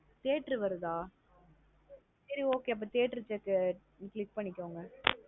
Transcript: Theatre வருதா சேரி okay அப்ப theatre check ஆ click பண்ணிகோங்க.